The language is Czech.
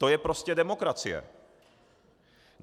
To je prostě demokracie.